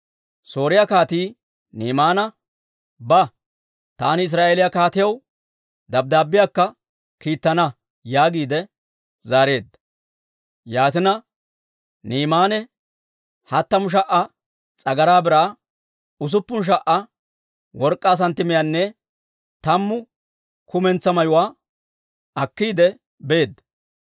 Sooriyaa kaatii Ni'imaana, «Ba, taani Israa'eeliyaa kaatiyaw dabddaabbiyaakka kiittana» yaagiide zaareedda. Yaatina Ni'imaane hattamu sha"a s'agaraa biraa, usuppun sha"a work'k'aa santtimiyaanne tammu kumentsaa mayuwaa akkiide beedda.